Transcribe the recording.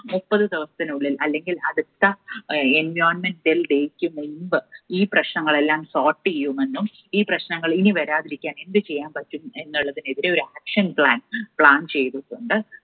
മുപ്പത് ദിവസത്തിനുള്ളിൽ അല്ലെങ്കിൽ അടുത്ത environment day യ്ക്ക് മുൻപ് ഈ പ്രശ്നങ്ങളെല്ലാം sort ചെയ്യുമെന്നും ഈ പ്രശ്നങ്ങൾ ഇനി വരാതിരിക്കാൻ എന്ത് ചെയ്യാൻ പറ്റും എന്നുള്ളതിനെതിരെ ഒരു action plan plan ചെയ്തുകൊണ്ട്